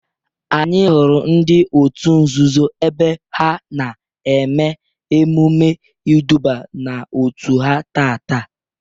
Anyị hụrụ ndị otu nzuzo ebe ha na eme emume iduba n'otu ha taata.